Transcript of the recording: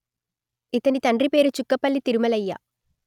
ఇతని తండ్రి పేరు చుక్కపల్లి తిరుమలయ్య